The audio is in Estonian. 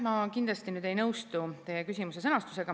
Ma kindlasti ei nõustu teie küsimuse sõnastusega.